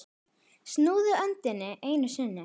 Snúðu öndinni einu sinni.